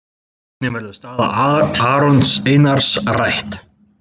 Einnig verður staða Arons Einars rædd.